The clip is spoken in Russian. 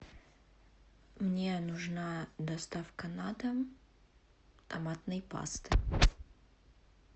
мне нужна доставка на дом томатной пасты